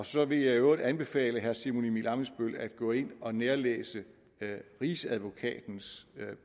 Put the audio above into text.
så vil jeg i øvrigt anbefale herre simon emil ammitzbøll at gå ind og nærlæse rigsadvokatens